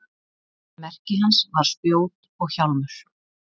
Merki hans var spjót og hjálmur.